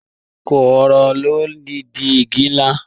Kooro ló n di igi nlá.